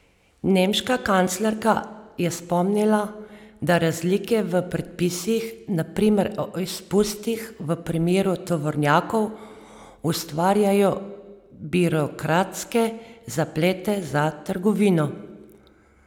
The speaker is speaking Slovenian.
Nemška kanclerka je spomnila, da razlike v predpisih, na primer o izpustih v primeru tovornjakov, ustvarjajo birokratske zaplete za trgovino.